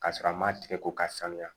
Ka sɔrɔ a ma tigɛ ko k'a sanuya